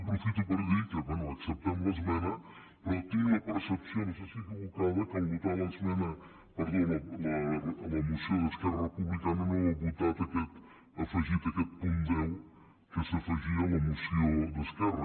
aprofito per dir que bé acceptem l’esmena però tinc la percepció no sé si equivocada que al votar la moció d’esquerra republicana no ha votat aquest afegit aquest punt deu que s’afegia a la moció d’esquerra